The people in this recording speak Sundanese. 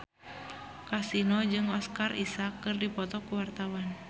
Kasino jeung Oscar Isaac keur dipoto ku wartawan